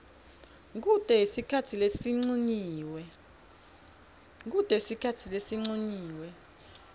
kute sikhatsi lesincunyiwe